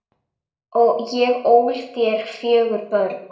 Ég ól þér fjögur börn.